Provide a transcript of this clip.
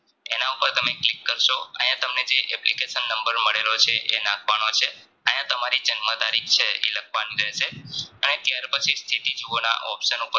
clik કરસો આયા તમને જે application નંબર મળેલો છે તમારે નાખવાનો છે આયા તમારી જન્મ તારીખ છે ઈ લખવાની રહેશે અને ત્યાર પછી સ્થિતિ જોવાના option ઉપર